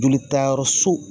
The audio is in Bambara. Jolitayɔrɔso